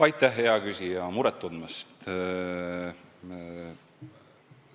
Aitäh, hea küsija, muret tundmast!